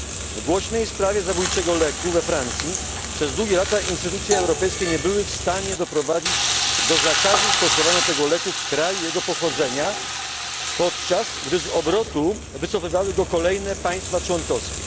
W głośnej sprawie zabójczego leku we Francji przez długie lata instytucje europejskie nie były w stanie doprowadzić do zakazu stosowania tego leku w kraju jego pochodzenia, podczas gdy z obrotu wycofywały go kolejne państwa członkowskie.